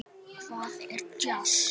Hvað er djass?